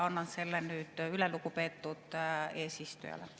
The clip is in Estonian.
Annan selle nüüd üle lugupeetud eesistujale.